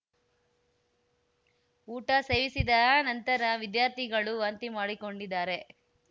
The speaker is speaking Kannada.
ಊಟ ಸೇವಿಸಿದ ನಂತರ ವಿದ್ಯಾರ್ಥಿಗಳು ವಾಂತಿ ಮಾಡಿಕೊಂಡಿದ್ದಾರೆ